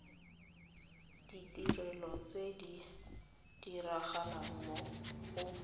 ditirelo tse di diragalang go